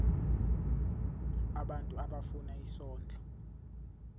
abantu abafuna isondlo